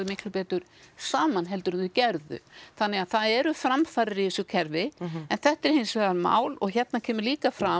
miklu betur saman heldur en þau gerðu þannig að það eru framfarir í þessu kerfi en þetta er hins vegar mál og hérna kemur líka fram